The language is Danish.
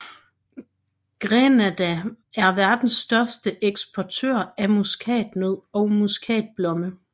Grenada er verdens største eksportør af muskatnød og muskatblomme